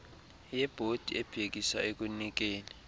yebhodi ebhekisa ekunikeni